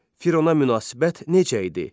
Firuna münasibət necə idi?